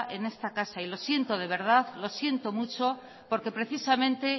en esta casa y lo siento de verdad lo siento mucho porque precisamente